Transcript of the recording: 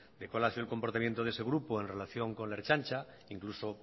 de cuál ha sido el comportamiento de ese grupo en relación con la ertzaintza e incluso